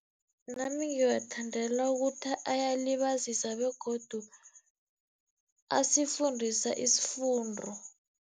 Nami ngiwathandela ukuthi ayalibazisa begodu asifundisa isifundo.